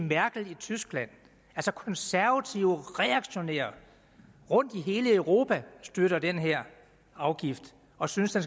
merkel i tyskland konservative reaktionære rundtom i hele europa støtter den her afgift og synes at